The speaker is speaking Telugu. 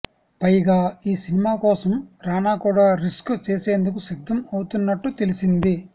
పైగా ఈ సినిమాకోసం రానా కూడా రిస్క్ చేసేందుకు సిద్ధం అవుతున్నట్టు తెలిసింది